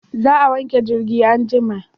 Za a wanke jirgin anjima